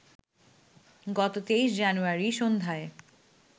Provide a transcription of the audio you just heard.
গত ২৩জানুয়ারি সন্ধ্যায়